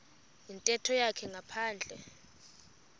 yintetho yakhe ngaphandle